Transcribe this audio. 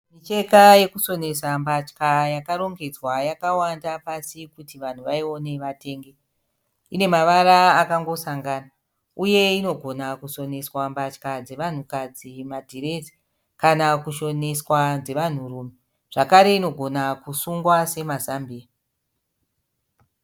Micheka yokusonesa mbatya yakarongedzwa yakawanda pasi kuti vanhu vaione vatenge. Ine mavara akangosangana, uye inogona kusonesa mbatya dzevanhukadzi madhirezi kana kushoneswa dzevanhurume , zvekare inogona kusungwa semazambiya.